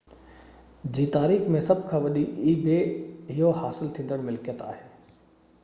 اهو ebay جي تاريخ ۾ سڀ کان وڏي حاصل ٿيندڙ ملڪيت آهي